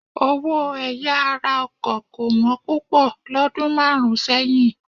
Owó ẹ̀yà ara ọkọ̀ kò wọ́n púpọ̀ lọ́dún márùn-ún sẹ́yìn.